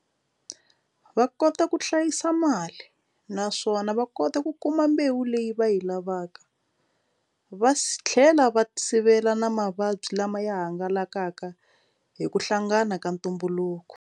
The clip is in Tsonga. Va kota ku hlayisa mali naswona va kota ku kuma mbewu leyi va yi lavaka va tlhela va sivela na mavabyi lama ya hangalakaka hi ku hlangana ka ntumbuluko.